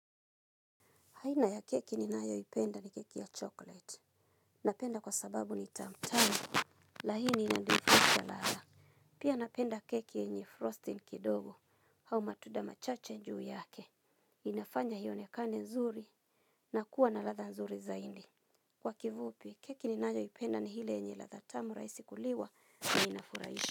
Haina ya keki ni nayoipenda ni keki ya chocolate. Napenda kwa sababu ni tamu tangu. Lahini inanifisha laala. Pia napenda keki yenye frosting kidogo. Au matuda machache juu yake. Inafanya hiyo ionekane nzuri na kuwa na latha nzuri zaindi. Kwa kivupi, keki ni nayo ipenda ni hile yenye latha tamu raisi kuliwa na inafuraisha.